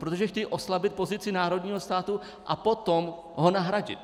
Protože chtějí oslabit pozici národního státu a potom ho nahradit!